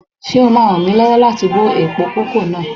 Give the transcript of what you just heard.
Ṣé o ma ràn mí lọ́wọ́ láti bọ́ èèpo kókò náà?